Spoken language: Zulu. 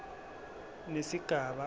nesigaba a se